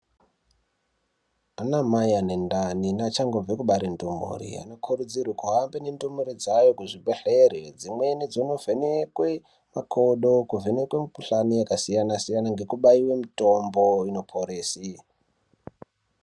Anamai ene ndani nevachangobva kubare ndumure vanokurudzirwe kuhanba nendumure dzavo kuzvibhedhlera dzimweni dzobhenekwe makodo kuvhenkwa mukuhlani yakasiyana siyana nekubayiwa mitombo inoporese.